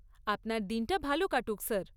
আপনার দিনটা ভাল কাটুক স্যার!